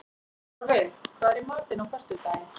Torfi, hvað er í matinn á föstudaginn?